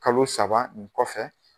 Kalo saba nin kɔfɛ